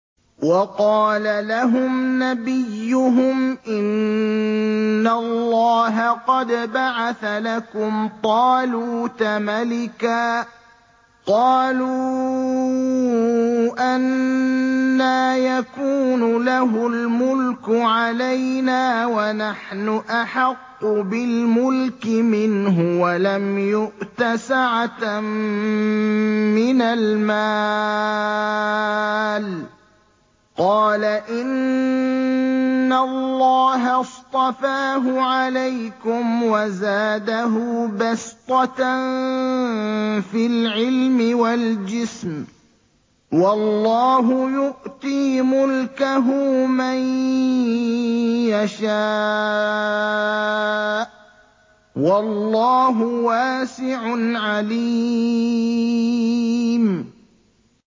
وَقَالَ لَهُمْ نَبِيُّهُمْ إِنَّ اللَّهَ قَدْ بَعَثَ لَكُمْ طَالُوتَ مَلِكًا ۚ قَالُوا أَنَّىٰ يَكُونُ لَهُ الْمُلْكُ عَلَيْنَا وَنَحْنُ أَحَقُّ بِالْمُلْكِ مِنْهُ وَلَمْ يُؤْتَ سَعَةً مِّنَ الْمَالِ ۚ قَالَ إِنَّ اللَّهَ اصْطَفَاهُ عَلَيْكُمْ وَزَادَهُ بَسْطَةً فِي الْعِلْمِ وَالْجِسْمِ ۖ وَاللَّهُ يُؤْتِي مُلْكَهُ مَن يَشَاءُ ۚ وَاللَّهُ وَاسِعٌ عَلِيمٌ